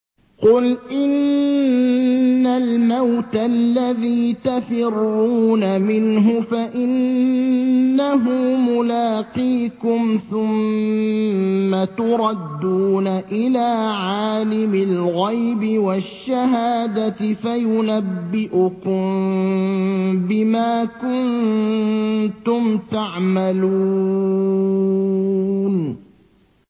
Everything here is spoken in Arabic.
قُلْ إِنَّ الْمَوْتَ الَّذِي تَفِرُّونَ مِنْهُ فَإِنَّهُ مُلَاقِيكُمْ ۖ ثُمَّ تُرَدُّونَ إِلَىٰ عَالِمِ الْغَيْبِ وَالشَّهَادَةِ فَيُنَبِّئُكُم بِمَا كُنتُمْ تَعْمَلُونَ